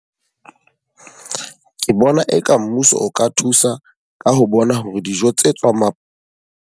Ke bona e ka mmuso o ka thusa ka ho bona hore dijo tse tswang .